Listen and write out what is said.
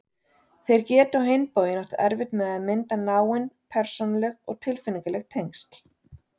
Þeir geti á hinn bóginn átt erfitt með að mynda náin persónuleg og tilfinningaleg tengsl.